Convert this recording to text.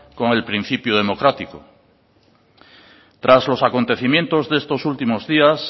con el principio democrático tras los acontecimientos de estos últimos días